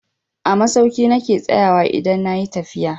A masauki na ke tsayawa idan na yi tafiya.